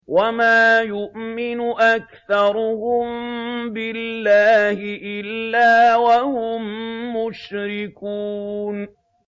وَمَا يُؤْمِنُ أَكْثَرُهُم بِاللَّهِ إِلَّا وَهُم مُّشْرِكُونَ